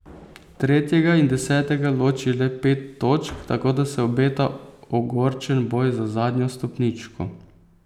Tretjega in desetega loči le pet točk, tako da se obeta ogorčen boj za zadnjo stopničko.